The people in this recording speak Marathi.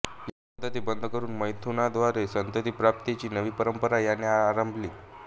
या पद्धती बंद करून मैथुनाद्वारे संततिप्राप्तीची नवी परंपरा याने आरंभली